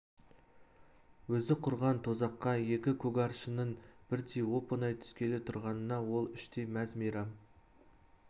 өзі құрған тұзаққа екі көгаршынның бірдей оп-оңай түскелі тұрғанына ол іштей мәз-мейрам